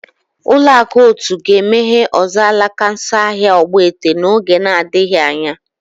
Ụlọakụ otu ga-emeghe ọzọ alaka nso ahịa ogbete n'oge na-adịghị anya